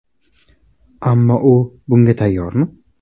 Ammo u bunga tayyormi?